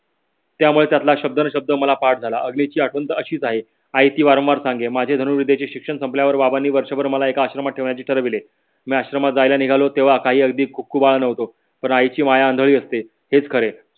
त्यामुळे त्यातला शबनशब्द मला पाठ झाला आठवण अशीच आहे. आई ती वारंवार सांग. माझ्या धनूरविद्येचे शिक्षण संपल्यावर बाबांनी वर्षभर मला एक आश्रमात ठेवण्याचे ठरविले. मी आश्रमात जायला निघालो तेव्हा काही अगदी खूप आनंदी होतो. पण आई ची माया आंधळी असते हेच खरे.